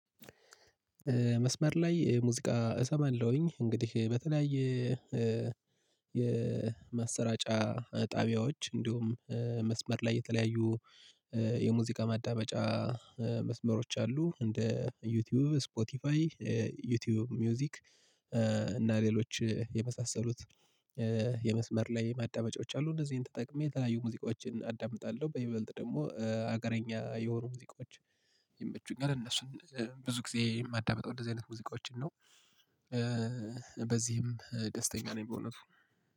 መስመር ላይ ሙዚቃ እሰማለሁኝ እንግዲህ በተለያየ የማሰራጫ ጣቢያዎች እንዲሁም መስመር ላይ የተለያዩ የሙዚቃ ማዳበጫ መስመሮች አሉ። እንደ ዩቲዩብ ስፖቲፋይ ዩቲዩብ ሙዚክ እና ሌሎች የመሳሰሉት የመስመር ላይ ማዳመጫዎች አሉ። እነዚህን ተጠቅሜ የተለያዩ ሙዚቆችን አዳምጣለሁ በይበልጥ ደግሞ ሀገረኛ የሆኑ ሙዚቃዎች ይምቹኛል እነሱን ብዙ ጊዜ የማዳምጠው እንደዚህ አይነት ሙዚቃዎችን ነው። በዚህም ደስተኛ ነኝ። በእውነቱ